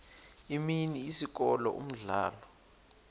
imini isikolo umdlalo